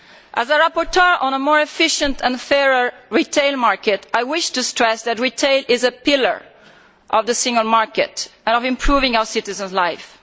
As the rapporteur on a more efficient and fairer retail market, I wish to stress that retail is a pillar of the single market and of improving our citizens' lives.